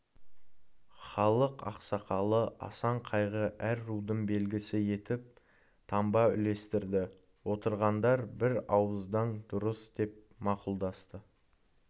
халық ақсақалы асан қайғы әр рудың белгісі етіп таңба үлестірді отырғандар бір ауыздан дұрыс деп мақұлдасты